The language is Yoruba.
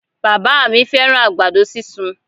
Bàbá à mí fẹ́ràn àgbàdo sísun